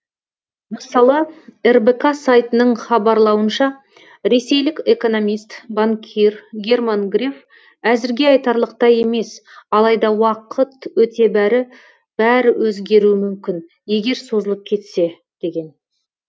мысалы рбк сайтының хабарлауынша ресейлік экономист банкир герман греф әзірге айтарлықтай емес алайда уақыт өте бәрі өзгеруі мүмкін егер созылып кетсе деген